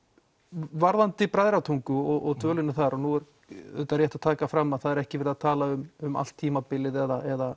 varðandi Bræðratungu og dvölina þar og nú er rétt að taka fram að það er ekki verið að tala um um allt tímabilið eða